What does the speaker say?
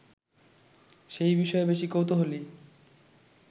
সেই বিষয়ে বেশি কৌতূহলী